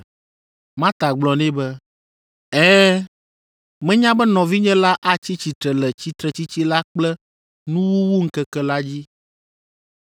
Marta gblɔ nɛ be, “Ɛ̃, menya be nɔvinye la atsi tsitre le tsitretsitsi la kple nuwuwuŋkeke la dzi.”